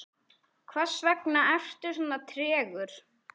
hversvegna ertu svona tregur